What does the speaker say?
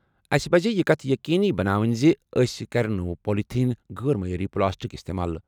"اسہِ پَزِ یہِ کَتھ یٔقیٖنی بناوٕنۍ زِ أسۍ کَرِ نہٕ پولِتھین، غٲر معیٲری پلاسٹک استعمال۔